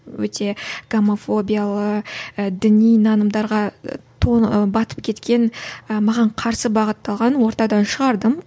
өте гомофобиялы і діни нанымдарға батып кеткен маған қарсы бағытталған ортадан шығардым